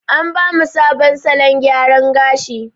An ba mu sabon salon gyara gashi.